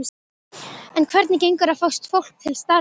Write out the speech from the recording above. En hvernig gengur að fá fólk til starfa?